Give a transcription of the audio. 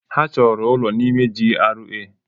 Ha chọrọ ụlọ n'ime GRA.